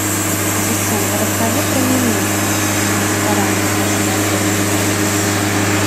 ассистент расскажи про меню в ресторане вашего отеля